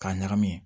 K'a ɲagami